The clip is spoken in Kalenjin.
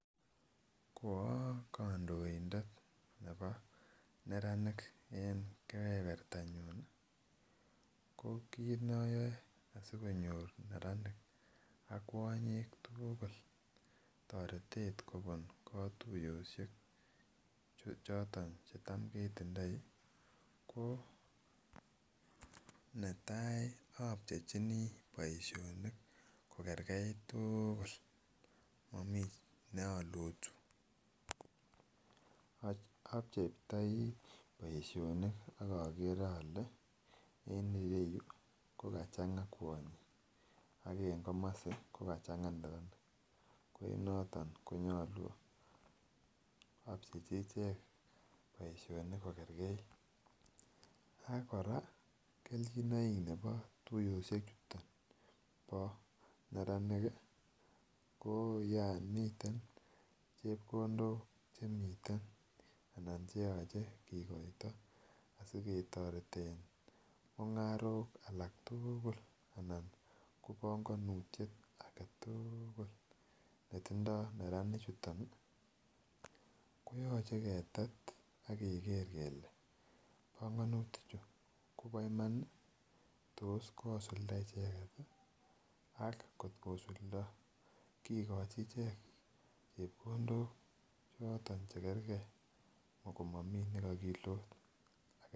Ko okondoindet nebo neranik en kepepertanyun ko kit noyoe asikonyor neranik ak kwonyik tuukul toretet kobun kotuyoshek choto chetam ketindoi ko netai obchechinii boishonik ko kerkeit tuukul momii ne olotu, obcheitoi boishonit akokoeee ole en ireyuu ko kachamga kwonyik ak en komosi ko kachanga murenik ko en yoton konyolu obchechii ichek boishonik kogerkeit . Ak Koraa keljinoik nebotuyoshek chuton bo neranik kii ko yon miten chepkondok chemiten anan cheyoche kikoito asiketoreten mungarok alak tuukul anan ko pongonutyet alatukul netindo neranik chuton koyoche ketet akeker kele pongonutik chuu Kobo Iman nii, tos kosumda icheket tii ak kot kosuldo kikochi ichek chepkondok choton chekergee komomii nekokilot aget.